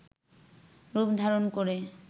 রূপ ধারণ করে